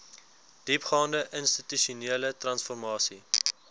diepgaande institusionele transformasie